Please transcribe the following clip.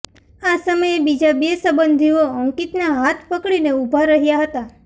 આ સમયે બીજા બે સંબંધીઓ અંકિતના હાથ પકડીને ઊભા રહ્યા હતા